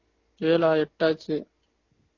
ஏழா எட்டாச்சு